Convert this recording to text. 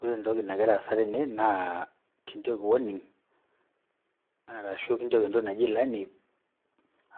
Ore entoki nagira aasa tene naa kinjooki warning arashu kinjooki entoki naji ilani